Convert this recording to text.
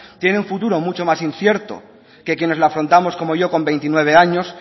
tiene un futuro mucho más incierto que quienes lo afrontamos como yo con veintinueve años